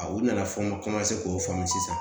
u nana fɔ n ka k'o faamu sisan